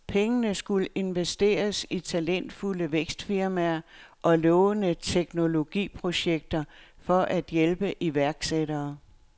Pengene skulle investeres i talentfulde vækstfirmaer og lovende teknologiprojekter for at hjælpe iværksættere.